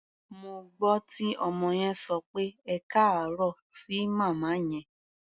Mo gbọ́ tí ọmọ yẹn sọ pé "ẹkáàárọ̀" sí màmá yẹn.